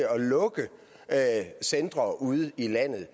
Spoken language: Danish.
at centre ude i landet det